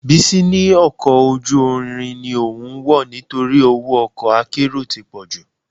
Bísí ní ọkọ̀ ojú irin ni òun wọ̀ nítorí owó ọkọ akérò ti pọ̀jù